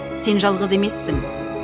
сен жалғыз емессің